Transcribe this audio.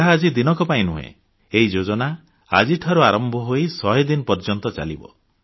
ଏହା ଆଜି ଦିନକ ପାଇଁ ନୁହେଁ ଏହି ଯୋଜନା ଆଜିଠାରୁ ଆରମ୍ଭ ହୋଇ ଶହେଦିନ ପର୍ଯ୍ୟନ୍ତ ଚାଲିବ